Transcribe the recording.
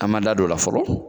An b'an da don o la fɔlɔ